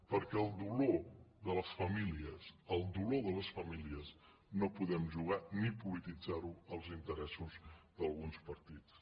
perquè amb el dolor de les famílies no podem jugar ni polititzar ho als interessos d’alguns partits